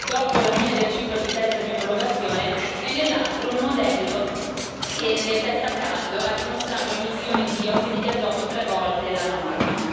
dopo la fine del ciclo di test di omologazione e, nell'altro, un modello che nel test a caldo ha dimostrato emissioni di ossidi di azoto tre volte la norma.